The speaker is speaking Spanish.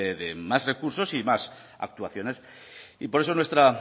de más recursos y más actuaciones y por eso nuestra